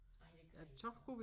Nej det kan I ikke nej